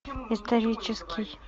исторический